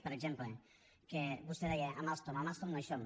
per exemple que vostè deia amb alstom amb alstom no hi som